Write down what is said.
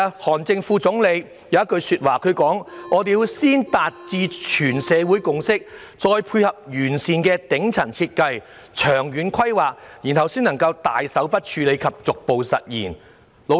韓正副總理曾指出，必須先達致全社會共識，再配合完善的頂層設計、長遠規劃，然後才能大手筆處理及逐步實現。